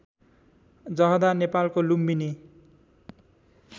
जहदा नेपालको लुम्बिनी